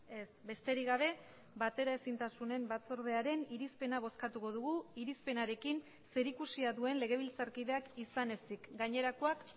ez besterik gabe bateraezintasunen batzordearen irizpena bozkatuko dugu irizpenarekin zerikusia duen legebiltzarkideak izan ezik gainerakoak